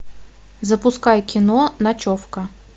запускай кино ночевка